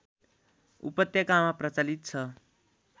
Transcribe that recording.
उपत्यकामा प्रचलित छ